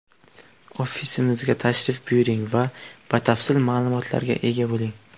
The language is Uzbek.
Ofisimizga tashrif buyuring va batafsil ma’lumotlarga ega bo‘ling!